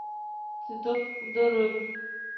цветок у дороги